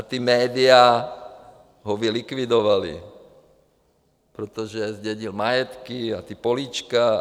A ta média ho vylikvidovala, protože zdědil majetky a ta políčka.